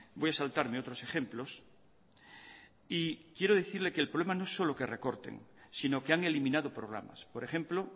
voy a saltarme otros ejemplos y quiero decirle que el problema no es solo que recorten sino que han eliminado programas por ejemplo